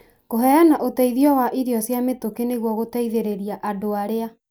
kũheana ũteithio wa irio cia mĩtũkĩ nĩguo gũtigĩrĩra andũ arĩa